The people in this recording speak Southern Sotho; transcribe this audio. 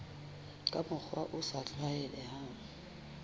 ka mokgwa o sa tlwaelehang